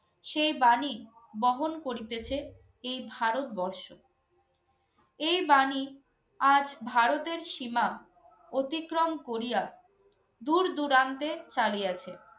সেই বাণী বহন করিতেছে এই ভারতবর্ষ। এই বাণী আজ ভারতের সীমা অতিক্রম করিয়া দূর দূরান্তে চালিয়েছে।